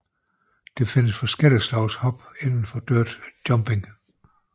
Der findes forskellige slags hop inden for dirt jumping